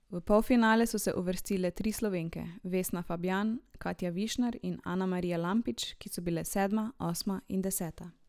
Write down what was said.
V polfinale so se uvrstile tri Slovenke, Vesna Fabjan, Katja Višnar in Anamarija Lampič, ki so bile sedma, osma in deseta.